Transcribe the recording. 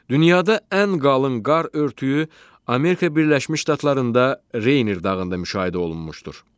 Dünyada ən qalın qar örtüyü Amerika Birləşmiş Ştatlarında Reyner dağında müşahidə olunmuşdur.